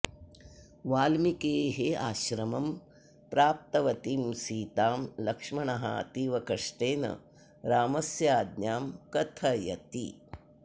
वाल्मिकेः आश्रमं प्राप्तवतीं सीतां लक्ष्मणः अतीव कष्टेन रामस्य आज्ञां कथयति